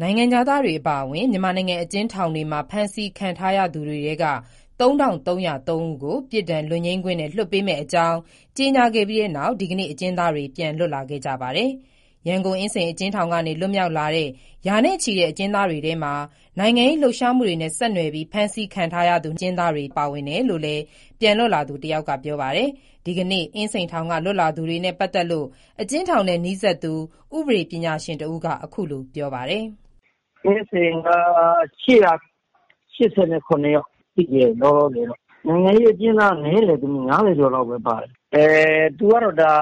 နိုင်ငံခြားသားတွေ အပါအဝင် မြန်မာနိုင်ငံ အကျဉ်းထောင်တွေမှာ ဖမ်းဆီးခံထားရသူတွေထဲက ၃၃၀၃ ဦးကို ပြစ်ဒဏ်လွတ်ငြိမ်းခွင့်နဲ့ လွှတ်ပေးမယ့်အကြောင်း ကြေညာခဲ့ပြီးနောက် ဒီကနေ့ အကျဉ်းသားတွေ ပြန်လွတ်လာခဲ့ကြပါတယ်။ ရန်ကုန်၊ အင်းစိန်အကျဉ်းထောင်ကနေ လွတ်မြောက်လာတဲ့ ရာနဲ့ချီတဲ့ အကျဉ်းသားတွေထဲမှာ နိုင်ငံရေးလှုပ်ရှားမှုတွေနဲ့ ဆက်နွယ်ပြီး ဖမ်းဆီးခံထားရသူတွေပါဝင်တယ်လို့လည်း ပြန်လွတ်လာသူတယောက်က ပြောပါတယ်။ ဒီကနေ့ အင်းစိန်ထောင်က လွတ်လာသူတွေနဲ့ ပတ်သက်လို့အကျဉ်းထောင်နဲ့နီးစပ်သူ ဥပဒေပညာရှင် တဦးက အခုလိုပြောပါတယ်။ “အင်းစိန်က ၈၈၇ ယောက် လောလောဆယ်တော့ နိုင်ငံရေးအကျဉ်းသားနည်းတယ်။ ၅၀ ကျော်လောက်ပါတယ်။ သူကတော့ဒါ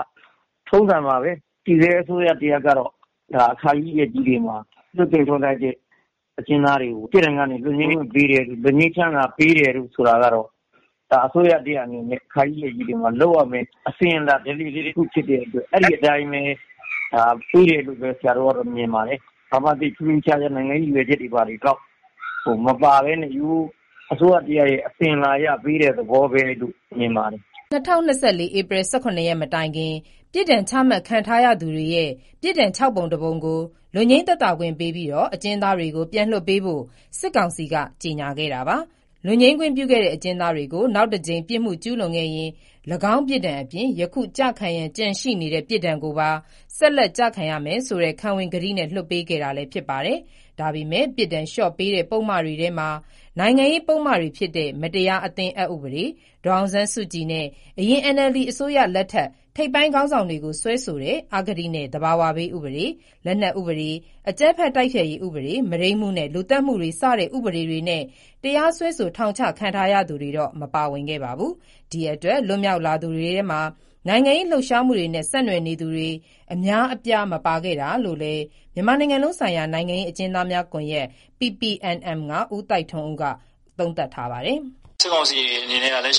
ထုံးစံပါပဲ၊ တည်ဆဲအစိုးရတရပ်ကတော့ အခါကြီးရက်ကြီးတွေမှာ လွှတ်ပေးတဲ့ထုံးစံရှိတယ်၊ အကျဉ်းသားတွေကို ပြစ်ဒဏ်ကနေလွှတ်ငြိမ်းချမ်းသာပေးတယ်ဆိုတာက အစိုးရတရပ်အနေနဲ့ အခါကြီးရက်ကြီးတွေမှာလုပ်ရမယ့် အစဉ်အလာ ဓလေ့လေးတခုဖြစ်တဲ့အတွက် အဲဒီအတိုင်းပဲပေးတယ်လို့ ဆရာတို့ကတော့ မြင်ပါတယ်။ ဘာမှထူးထူးခြားခြား နိုင်ငံရေးရည်ရွယ်ချက်တွေ ဘာတွေ မပါပဲနဲ့ ဒီအတိုင်းပဲရိုးရိုးအစိုးရတရပ်ရဲ့ အစဉ်အလာအရပေးတဲ့သဘောလို့ပဲမြင်ပါတယ်။” ၂၀၂၄ ဧပြီ ၁၇ ရက် မတိုင်ခင် ပြစ်ဒဏ်ချမှတ်ခံထားရသူတွေရဲ့ ပြစ်ဒဏ် ၆ ပုံ ၁ ပုံကို လွတ်ငြိမ်း သက်သာခွင့်ပေးပြီး အကျဉ်းသားတွေကို ပြန်လွှတ်ပေးဖို့ စစ်ကောင်စီက ကြေညာခဲ့တာပါ။ လွတ်ငြိမ်းခွင့်ပြုတဲ့အကျဉ်းသားတွေကို "နောက်တကြိမ်ပြစ်မှုကျူးလွန်ခဲ့ရင် ၎င်းပြစ်ဒဏ်အပြင် ယခုကျခံရန်ကျန်ရှိတဲ့ပြစ်ဒဏ်ကိုပါ ဆက်လက်ကျခံရမယ်" ဆိုတဲ့ ခံဝန်ကတိနဲ့ လွှတ်ပေးခဲ့တာလည်း ဖြစ်ပါတယ်။ ဒါပေမဲ့ ပြစ်ဒဏ်လျှော့ပေးတဲ့ ပုဒ်မတွေ ထဲမှာ နိုင်ငံရေးပုဒ်မတွေဖြစ်တဲ့ မတရားအသင်းအက်ဥပဒေ၊ ဒေါ်အောင်ဆန်းစုကြည်နဲ့ အရင် NLD အစိုးရလက်ထက် ထိပ်ပိုင်းခေါင်းဆောင်တွေကိုစွဲဆိုတဲ့ အဂတိနဲ့ သဘာဝဘေး ဥပဒေ၊ လက်နက်ဥပဒေ၊ အကြမ်းဖက်တိုက်ဖျက်ရေးဥပဒေ၊ မုဒိန်းမှုနဲ့ လူသတ်မှုတွေစတဲ့ဥပဒေတွေနဲ့ တရားစွဲဆို ထောင်ချခံ ထားရသူတွေတော့ မပါဝင်ခဲ့ပါဘူး။ ဒီအတွက် လွတ်မြောက်လာသူတွေထဲမှာ နိုင်ငံရေးလှုပ်ရှားမှုတွေနဲ့ ဆက်နွယ်နေသူတွေ အများအပြား မပါခဲ့တာလို့လည်း မြန်မာနိုင်ငံလုံးဆိုင်ရာ နိုင်ငံရေး အကျဉ်းသားများကွန်ရက် (PPNM) က ဦးသိုက်ထွန်းဦးက သုံးသပ်ပါတယ်။ “စစ်ကောင်စီအနေနဲ့က သူ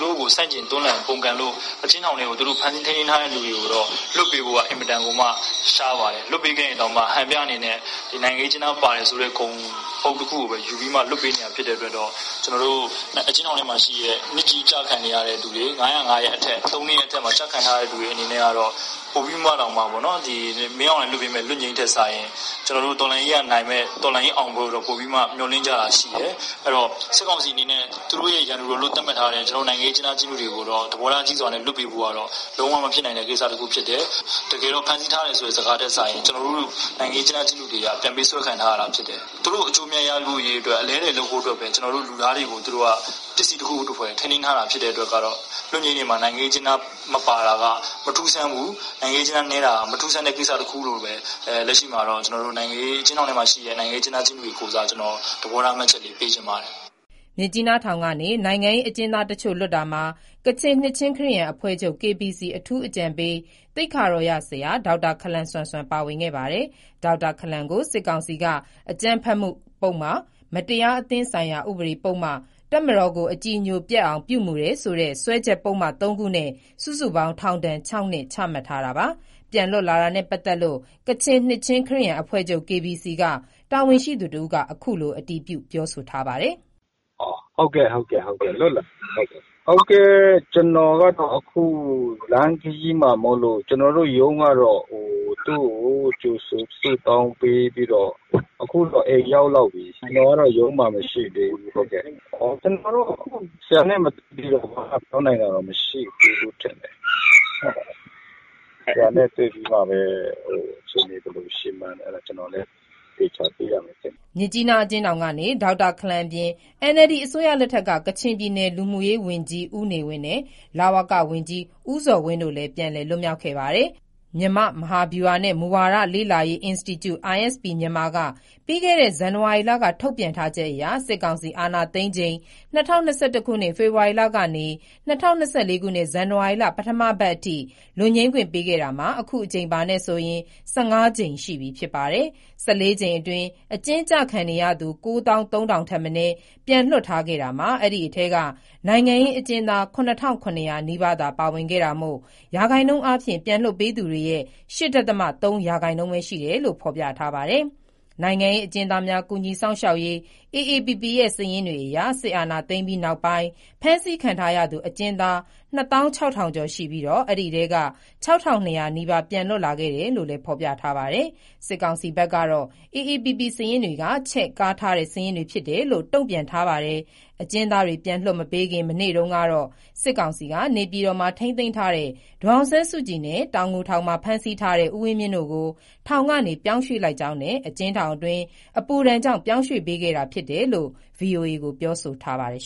တို့ကိုဆန့်ကျင်တွန်းလှန်ပုန်ကန်လို့ အကျဉ်းထောင်ထဲကို သူတို့ဖမ်းဆီးထိန်းသိမ်းထားတဲ့လူတွေကိုတော့ လွှတ်ပေးဖို့က အင်မတန်မှ ရှားပါတယ်။ လွှတ်ပေးခဲ့ရင်တောင်မှ ဟန်ပြအနေနဲ့ နိုင်ငံရေးအကျဉ်းသားပါတယ်ဆိုတဲ့ ဂုဏ်ပုဒ်တခုကိုပဲ ယူပြီးမှ လွှတ်ပေးနေတာဖြစ်တဲ့အတွက်တော့ အကျဉ်းထောင်ထဲမှာရှိတဲ့ နှစ်ကြီးကျခံနေရတဲ့သူတွေ ၅၀၅ ၃နှစ်ရဲ့အထက်မှာကျခံနေရတဲ့သူတွေအတွက်ကတော့ ပိုပြီးမှတောင်မှပေါ့နော် မင်းအောင်လှိုင်လွှတ်ပေးမယ့် လွတ်ငြိမ်းထက်စာရင် တော်လှန်ရေးကနိုင်မယ့် တော်လှန်ရေးအောင်ပွဲကို ပိုပြီးမှ မျှော်လင့်ကြတာရှိတယ်။ စစ်ကောင်စီအနေနဲ့ သူတို့ရန်သူလို့ သတ်မှတ်ထားတဲ့ နိုင်ငံရေးအကျဉ်းသား အကျဉ်းသူတွေကိုတော့ သဘောထားကြီးစွာနဲ့ လွှတ်ပေးဖို့ကတော့ ဘယ်လိုမှ မဖြစ်နိုင်ဘူးလို့ထင်တယ်။ တကယ်တော့ဖမ်းဆီးထားတယ်ဆိုတဲ့ စကားထက်စာရင် နိုင်ငံရေးအကျဉ်းသား၊အကျဉ်းသူတွေက ပြန်ပေးဆွဲခံထားရတာဖြစ်တယ်။ သူတို့အကျိုးအမြတ်ရဖို့အတွက် အလဲအလှယ်လုပ်ဖို့အတွက် ပစ္စည်းတခုသဖွယ်ထိန်းသိမ်းထားတာ ဖြစ်တဲ့အတွက် လွတ်ငြိမ်းထဲမှာ နိုင်ငံရေးအကျဉ်းသားမပါတာက မထူးဆန်းဘူး၊ နိုင်ငံရေးအကျဉ်းသားနည်းတာက မထူးဆန်းတဲ့ကိစ္စတခုလို့ပဲ ကျွန်တော်တို့ နိုင်ငံရေးအကျဉ်းသား၊ အကျဉ်းသူတွေရဲ့ကိုယ်စား သဘောထားမှတ်ချက်ပေးချင်ပါတယ်။” မြစ်ကြီးနားထောင်ကနေ နိုင်ငံရေးအကျဉ်းသားတချို့လွတ်တာမှာ ကချင်နှစ်ခြင်းခရစ်ယာန်အဖွဲ့ချုပ် KBC အထူးအကြံပေး သိက္ခာတော်ရဆရာ ဒေါက်တာ ခလမ်ဆမ်ဆွမ်ပါဝင်ခဲ့ပါတယ်။ ဒေါက်တာခလမ်ဆမ်ဆွမ်ကို စစ်ကောင်စီက အကြမ်းဖက်မှု ပုဒ်မ၊ မတရားအသင်းဆိုင်ရာဥပဒေပုဒ်မ၊ တပ်မတော်ကို အကြည်ညိုပျက်အောင် ပြုမူတယ်ဆိုတဲ့ စွဲချက်ပုဒ်မ သုံးခုနဲ့ စုစုပေါင်း ထောင်ဒဏ် ၆နှစ်ချမှတ်ထားတာပါ။ ပြန်လွတ်လာတာနဲ့ပတ်သတ်လို့ ကချင်နှစ်ခြင်းခရစ်ယာန်အဖွဲ့ချုပ် KBC ကတာဝန်ရှိသူတဦးက အခုလို အတည်ပြုပြောဆိုလိုက်တာပါ။ “ဟုတ်ကဲ့ လွတ်လာပါတယ်။ ကျွန်တော်တို့ရုံးကတော့ သူ့ကိုကြိုဆိုဆုတောင်းပေးပြီးတော့ အခုဆိုအိမ်ရောက်လောက်ပြီ။ ဆရာနဲ့တွေ့ပြီးမှပဲ အခြေအနေဘယ်လိုရှိမှန်း သေချာသိရမယ်” မြစ်ကြီးနားအကျဉ်းထောင်ကနေ ဒေါက်တာခလမ်အပြင် NLD အစိုးရလက်ထက်က ကချင်ပြည်နယ် လူမှုရေးဝန်ကြီး ဦးနေဝင်းနဲ့ လဝကဝန်ကြီးဦးဇော်ဝင်းတို့လည်းပြန်လည်လွတ်မြောက်ခဲ့ပါတယ်။ မြန်မာ့မဟာဗျူဟာနှင့် မူဝါဒလေ့လာရေးအင်စတီကျု (ISP- Myanmar) က ပြီးခဲ့တဲ့ ဇန်နဝါရီလက ထုတ်ပြန်ထားချက်အရ စစ်ကောင်စီစစ်အာဏာသိမ်းချိန် ၂၀၂၁ ခုနှစ် ဖေဖော်ဝါရီလကနေ ၂၀၂၄ ခုနှစ် ဇန်နဝါရီ ပထမပတ်အထိ လွတ်ငြိမ်းခွင့်ပေးခဲ့တာမှာ အခုအကြိမ်အပါနဲ့ဆိုရင် ၁၅ ကြိမ်ရှိပြီဖြစ်ပါ တယ်။ ၁၄ ကြိမ်အတွင်း အကျဉ်းကျခံနေရသူ ၉သောင်း၃ထောင်ထပ်မနည်း ပြန်လွှတ်ထား ခဲ့တာမှာ အဲဒီအထဲ နိုင်ငံရေး အကျဉ်းသား ၇၇၀၀ နီးပါးသာပါဝင်ခဲ့တာမို့ရာခိုင်နှုန်းအားဖြင့် ပြန်လွှတ်ပေးသူတွေရဲ့ ၈ ဒသမ ၃ ရာခိုင်နှုန်းပဲ ရှိတယ်လို့ဖော်ပြထားပါတယ်။ နိုင်ငံရေးအကျဉ်းသားများ ကူညီစောင့်ရှောက်ရေး AAPP ရဲ့ စာရင်းတွေအရ စစ်အာဏာသိမ်းပြီး နောက်ပိုင်း ဖမ်းဆီးခံထားရသူ အကျဉ်းသား ၂၆,၀၀၀ ကျော်ရှိပြီး အဲဒီအထဲက ၆၂၀၀ နီးပါး ပြန်လွှတ်လာခဲ့တယ်လို့ ဖော်ပြထားပါတယ်။ စစ်ကောင်စီဘက်ကတော့ AAPP စာရင်းတွေက ချဲ့ကားထားတဲ့စာရင်းဖြစ်တယ်လို့တုံ့ပြန်ထားပါတယ်။ အကျဉ်းသားတွေ ပြန်လွှတ်မပေးခင် မနေ့တုန်းကတော့ စစ်ကောင်စီက နေပြည်တော်မှာ ထိန်းသိမ်းထားတဲ့ ဒေါ်အောင်ဆန်းစုကြည်နဲ့ တောင်ငူထောင်မှာ ဖမ်းဆီးထားတဲ့ ဦးဝင်းမြင့်တို့ကို ထောင်ကနေ ပြောင်းရွှေ့လိုက်ကြောင်းနဲ့ အကျဉ်းထောင်တွင်း အပူဒဏ်ကြောင့် ပြောင်းရွှေ့ပေးခဲ့တာဖြစ်ကြောင်း ဗွီအိုအေကို ပြောဆိုထားပါတယ်။